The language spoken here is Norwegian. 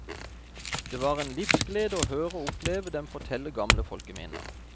Det var en livsglede å høre og oppleve dem fortelle gamle folkeminner.